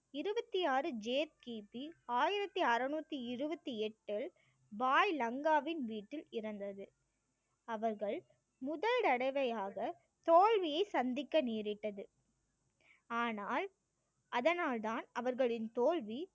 கி பி ஆயிரத்தி அறுநூற்றி இருபத்தி எட்டில் வாள் லங்காவின் வீட்டில் இருந்தது அவர்கள் முதல் தடவையாக தோல்வியை சந்திக்க நேரிட்டது ஆனால் அதனால்தான் அவர்களின் தோல்வி